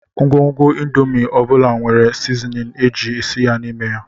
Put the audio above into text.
Ngwugwu indomin ọ bụla nwere sizinin a ji esi ya n'ime ya